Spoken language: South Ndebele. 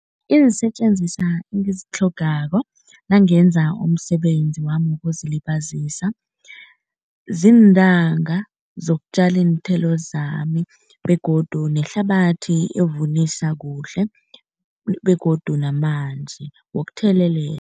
Iinsetjenziswa engazitlhogako nangenza umsebenzi wami wokuzilibazisa ziintanga zokutjala iinthelo zami begodu nehlabathi evunisa kuhle begodu namanzi wokuthelelela.